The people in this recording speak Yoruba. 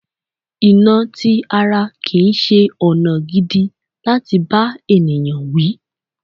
Ìnà ti ara kìí ṣe ọ̀nà gidi láti bá ènìyàn wí.